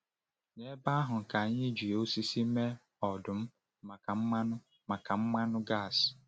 N’ebe ahụ ka anyị ji osisi mee ọdụ̀m maka mmanụ maka mmanụ gas.